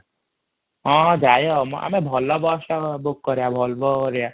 ହଁ ଯାଇହବା ମ ଆମେ ଭଲ ବସ ଟା book କରିବା ମ ଭଲଭୋ ହେରିକା |